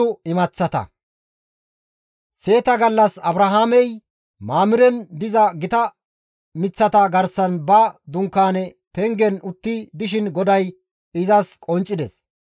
Seeta gallas Abrahaamey Mamiren diza gita miththata garsan ba dunkaane pengen utti dishin GODAY izas qonccides.